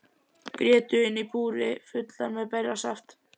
Grétu inni í búri fullar með berjasaft.